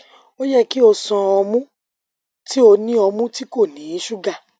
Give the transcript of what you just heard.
o yẹ ki o ṣan ọmu ti o ni ọmu ti ko ni suga